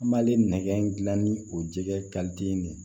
An b'ale nɛgɛ gilan ni o jɛgɛ ne ye